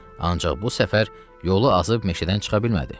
Ancaq bu səfər yolu azıb meşədən çıxa bilmədi.